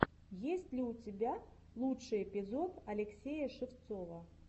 есть ли у тебя лучший эпизод алексея шевцова